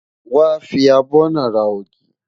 Wàá fi abọ́ náà ra ògì.